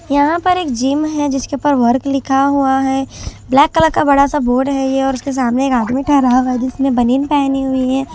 यहाँ पर एक जिम है जिसके ऊपर वर्क लिखा हुआ है ब्लैक कलर का बड़ा सा बोर्ड है ये और उसके सामने एक आदमी ठहरा हुआ है जिसने बनीन पहनी हुई है।